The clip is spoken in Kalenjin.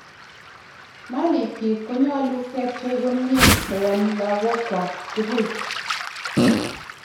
malikyik konyolu kepchei komie koyom lagokwak tugul